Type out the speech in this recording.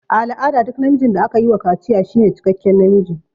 A al'ada duk namijin da aka wa kaciya shine cikekken namiji.